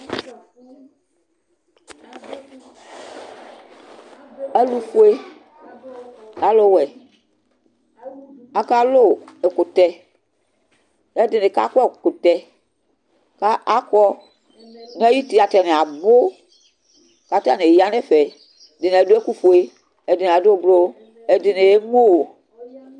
Alʋfue, alʋwɛ, akalʋ ɛkʋtɛ, kʋ ɛdini kakɔ ɛkʋtɛ, kʋ akɔ nʋ ayʋ uti atani abʋ Kʋ atani yanʋ ɛfɛ Ɛdini adʋ ɛkʋfue, ɛdini adʋ ʋblʋ, ɛdini emʋ